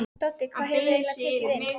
Doddi, hvað hefurðu eiginlega tekið inn?